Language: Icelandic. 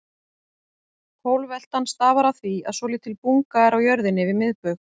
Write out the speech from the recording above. Pólveltan stafar af því að svolítil bunga er á jörðinni við miðbaug.